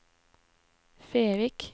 Fevik